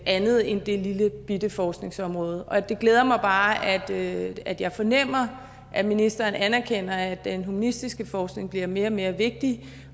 andet end det lillebitte forskningsområde og det glæder mig bare at at jeg fornemmer at ministeren anerkender at den humanistiske forskning bliver mere og mere vigtig